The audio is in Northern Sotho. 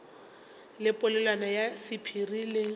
le polelwana ya sephiri le